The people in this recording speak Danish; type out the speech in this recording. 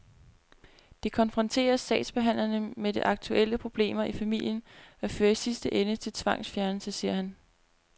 Det konfronterer sagsbehandlerne med de aktuelle problemer i familien og fører i sidste ende til tvangsfjernelse, siger han.